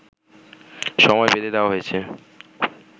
সময় বেঁধে দেওয়া হয়েছে